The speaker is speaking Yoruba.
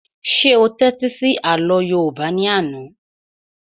Ṣé o tẹ́tí sí àlọ́ yóòbá ní àná?